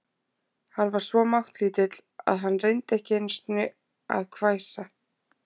Hann var svo máttlítill að hann reyndi ekki einu sinni að hvæsa.